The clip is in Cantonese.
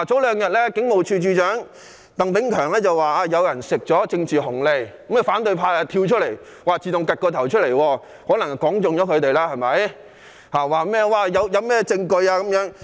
兩天前，警務處處長鄧炳強說有人獲取"政治紅利"，於是反對派跳出來——可能是說中了，所以他們對號入座——問他有沒有證據？